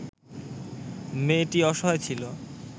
মেয়েটি অসহায় ছিল